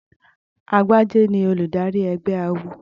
Agbájé ni olùdarí ẹgbẹ́ awo.